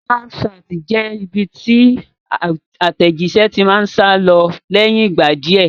Snapchat jẹ́ ibi tí àtẹ̀jíṣé ti máa ń sálọ lẹ́yìn ìgbà díẹ̀